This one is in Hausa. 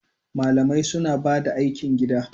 Malamai suna bada aikin gida